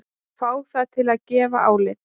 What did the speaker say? Fá það til að gefa álit